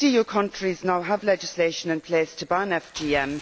Most EU countries now have legislation in place to ban FGM.